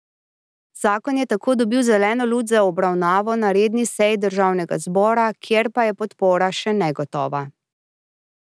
Zakon je tako dobil zeleno luč za obravnavo na redni seji državnega zbora, kjer pa je podpora še negotova.